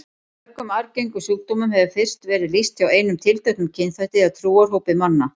Mörgum arfgengum sjúkdómum hefur fyrst verið lýst hjá einum tilteknum kynþætti eða trúarhópi manna.